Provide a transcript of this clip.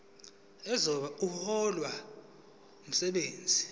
ozobe ehlola umsebenzi